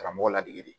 Karamɔgɔ ladege